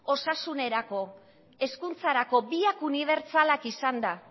osasunerako hezkuntzarako biak unibertsalak izanda